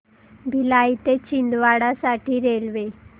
भिलाई ते छिंदवाडा साठी रेल्वे